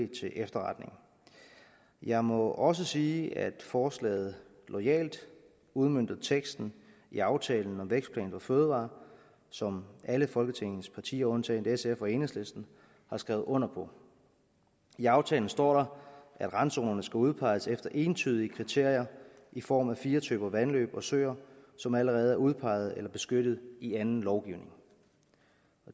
til efterretning jeg må også sige at forslaget loyalt udmønter teksten i aftalen om vækstplan for fødevarer som alle folketingets partier undtaget sf og enhedslisten har skrevet under på i aftalen står der at randzonerne skal udpeges efter entydige kriterier i form af fire typer vandløb og søer som allerede er udpeget eller beskyttet i anden lovgivning